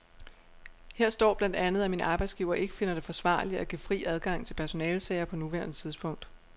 Her står blandt andet, at min arbejdsgiver ikke finder det forsvarligt at give fri adgang til personalesager på nuværende tidspunkt.